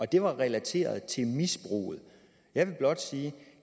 det var relateret til misbruget jeg vil blot sige